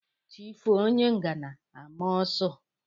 Chi foo onye ngana a maa ọ́sụ.